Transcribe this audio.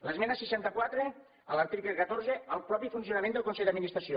l’esmena seixanta quatre a l’article catorze el mateix funcionament del consell d’administració